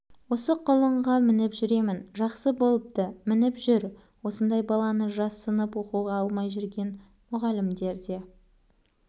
осы құлынға мініп жүремін жақсы болыпты мініп жүр осындай баланы жассынып оқуға алмай жүрген мұғалімдер де